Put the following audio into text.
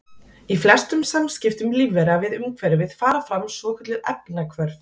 í flestum samskiptum lífvera við umhverfið fara fram svokölluð efnahvörf